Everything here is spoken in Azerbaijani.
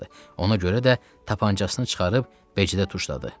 Ona görə də tapançasını çıxarıb Becidə tuşladı.